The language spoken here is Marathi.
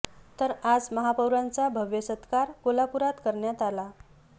तर आज महापौरांचा भव्य सत्कार कोल्हापूरात करण्यात आला